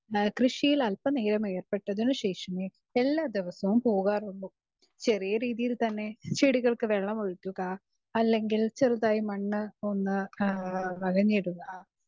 speaker 2 കൃഷിയിൽ അൽപ്പനേരം ഏർപ്പെട്ടതിന് ശേഷമേ എല്ലാ ദിവസവും പോകാറുള്ളൂ ചെറിയ രീതിയിൽ തന്നെ ചെടികൾക്ക് വെള്ളമൊഴിക്കുക അല്ലെങ്കിൽ ചെറുതായിട്ട് മണ്ണ് ഒന്ന്